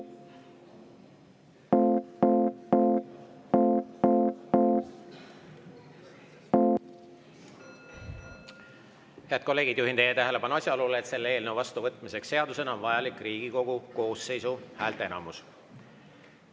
Head kolleegid, juhin teie tähelepanu asjaolule, et selle eelnõu vastuvõtmiseks seadusena on vajalik Riigikogu koosseisu häälteenamus.